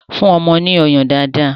Fún ọmọ ní ọyàn dáadáa!